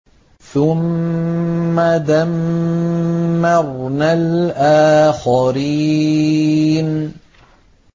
ثُمَّ دَمَّرْنَا الْآخَرِينَ